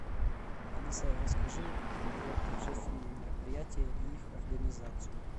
алиса расскажи про торжественные мероприятия и их организацию